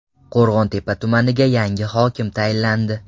Qo‘rg‘ontepa tumaniga yangi hokim tayinlandi.